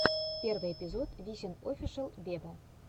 первый эпизод висин офишел вево